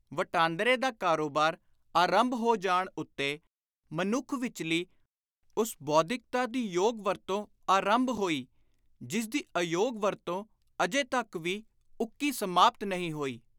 ਵਟਾਂਦਰੇ ਦਾ ਕਾਰੋਬਾਰ ਆਰੰਭ ਹੋ ਜਾਣ ਉੱਤੇ ਮਨੁੱਖ ਵਿਚਲੀ ਉਸ ਬੌਧਿਕਤਾ ਦੀ ਯੋਗ ਵਰਤੋਂ ਆਰੰਭ ਹੋਈ ਜਿਸਦੀ ਅਯੋਗ ਵਰਤੋਂ ਅਜੇ ਤਕ ਵੀ ਉੱਕੀ ਸਮਾਪਤ ਨਹੀਂ ਹੋਈ।